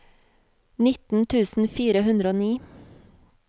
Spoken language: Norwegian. nitten tusen fire hundre og ni